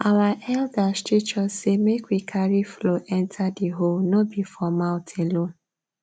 our elders teach us say make we carry flow enter the hoe no be for mouth alone